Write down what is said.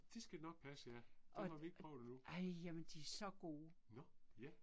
Det skal nok passe ja, dem har vi ikke prøvet endnu. Nåh, ja